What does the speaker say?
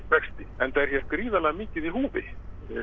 vexti enda er hér gríðarlega mikið í húfi